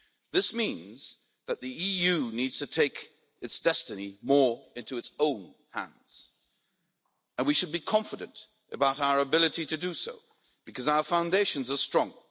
This means that the EU needs to take its destiny more into its own hands and we should be confident about our ability to do so, because our foundations are strong.